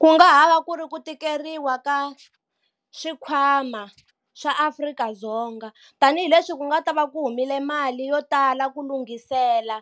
Ku nga ha va ku ri ku tikeriwa ka swikhwama swa Afrika-Ddzonga tanihileswi ku nga ta va ku humile mali yo tala ku lunghisela